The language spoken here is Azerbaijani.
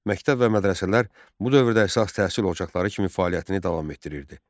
Məktəb və mədrəsələr bu dövrdə əsas təhsil ocaqları kimi fəaliyyətini davam etdirirdi.